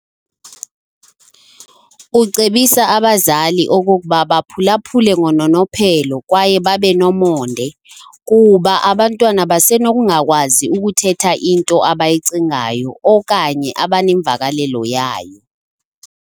Ucebisa abazali okokuba baphulaphule ngononophelo kwaye babe nomonde, kuba abantwana basenokungakwazi ukuthetha into abayicingayo okanye abanemvakalelo yayo.